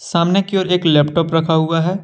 सामने की ओर एक लैपटॉप रखा हुआ है।